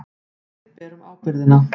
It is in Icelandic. Við berum ábyrgðina.